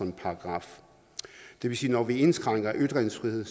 en paragraf det vil sige at når vi indskrænker ytringsfriheden